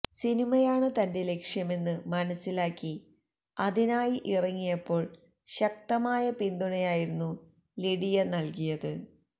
സിനിമയാണ് തന്റെ ലക്ഷ്യമെന്ന് മനസ്സിലാക്കി അതിനായി ഇറങ്ങിയപ്പോള് ശക്തമായ പിന്തുണയായിരുന്നു ലിഡിയ നല്കിയത്